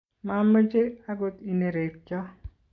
mameche akot inerekcho